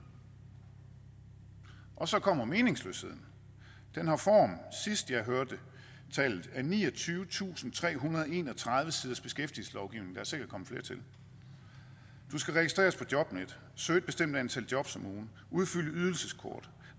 og så kommer meningsløsheden den har form sidst jeg hørte tallet af niogtyvetusinde og trehundrede og enogtredive siders beskæftigelseslovgivning og sikkert kommet flere til du skal registreres på jobnet søge et bestemt antal jobs om ugen udfylde ydelseskort